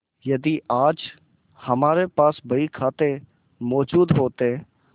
यदि आज हमारे पास बहीखाते मौजूद होते